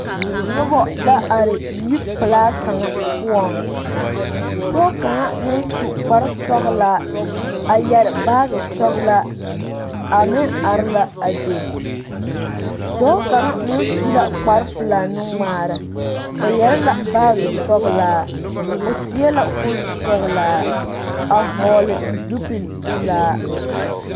Noba la are yi pelaa kaŋa poɔŋ pɔge kaŋ naŋ su kpar sɔgelaa a yɛrɛ baagi sɔgelaa a meŋ are la a be dɔɔ kaŋa meŋ su la kpar pelaa nuŋmaara o yɛrɛ la baagi sɔgelaa o seɛ la kuri sɔglaa a hɔgele zupili pelaa